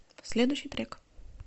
следующий трек